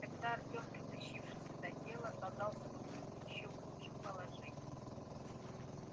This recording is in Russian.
тогда артём притащивший сюда тело оказался бы в ещё худшем положении